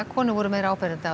konur voru meira áberandi